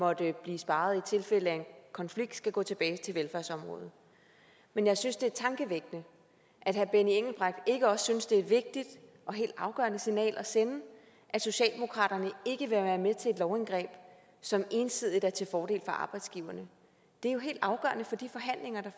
måtte blive sparet i tilfælde af en konflikt skal gå tilbage til velfærdsområdet men jeg synes det er tankevækkende at herre benny engelbrecht ikke også synes det er et vigtigt og helt afgørende signal at sende at socialdemokratiet ikke vil være med til et lovindgreb som ensidigt er til fordel for arbejdsgiverne det er jo helt afgørende for de forhandlinger der